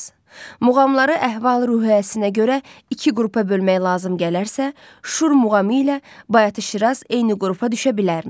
Muğamları əhval-ruhiyyəsinə görə iki qrupa bölmək lazım gələrsə, Şur muğamı ilə Bayatı-Şiraz eyni qrupa düşə bilərmi?